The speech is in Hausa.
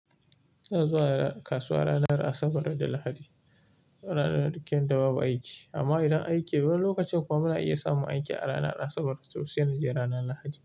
Ina zuwa kasuwa ranar Asabar da Lahadi, ranar duk yadda babu aiki. Amma idan aiki, wani lokacin kuma na iya samun aiki a ranar Asabar, to sai na je ranar Lahadi.